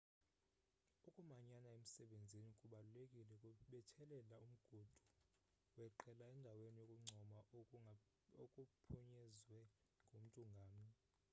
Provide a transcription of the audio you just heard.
ukumanyana emsebenzini kubalulekile kubethelela umgudu weqela endaweni yokuncoma okuphunyezwe ngumntu ngamnye